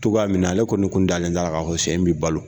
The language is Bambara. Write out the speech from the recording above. Togoya min na, ale kɔni kun dalen t'a la ka fɔ cɛ in bi balo .